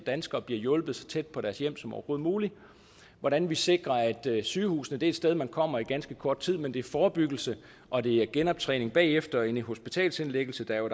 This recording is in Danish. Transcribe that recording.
danskere bliver hjulpet så tæt på deres hjem som overhovedet muligt hvordan vi sikrer at sygehusene er et sted man kommer i ganske kort tid men at det er forebyggelsen og det er genoptræningen efter en hospitalsindlæggelse der jo